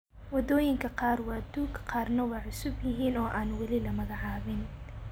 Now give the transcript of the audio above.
Wadooyinka qaar waa duug, qaarna waa cusub yihiin oo aan wali la magacaabin.